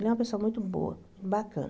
Ele é uma pessoa muito boa, bacana.